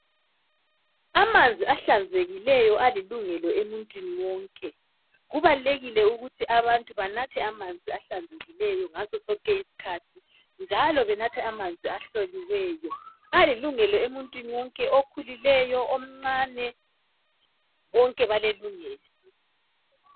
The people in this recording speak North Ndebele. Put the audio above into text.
amanzi ahlanzekileyo alilungelo emuntwini wonke kubalulekile ukuba abantu banathe amanzi ahlanzekileyo ngasosonke isikhathi njalo benathe amanzi ahloliweyo ayilungelo emyntwini wonke okhulileyo omncane bonke balelungelo